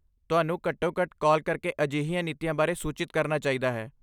ਤੁਹਾਨੂੰ ਘੱਟੋ ਘੱਟ ਕਾਲ ਕਰਕੇ ਅਜਿਹੀਆਂ ਨੀਤੀਆਂ ਬਾਰੇ ਸੂਚਿਤ ਕਰਨਾ ਚਾਹੀਦਾ ਹੈ